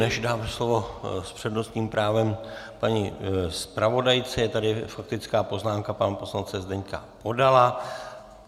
Než dám slovo s přednostním právem paní zpravodajce, je tady faktická poznámka pana poslance Zdeňka Podala.